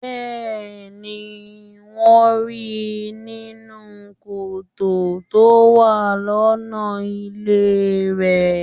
Bẹ́ẹ̀ni, wón ríi nínú kòtò tó wà lọ́nà ilé rèé.